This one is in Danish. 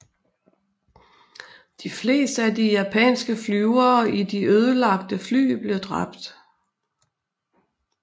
De fleste af de japanske flyvere i de ødelagte fly blev dræbt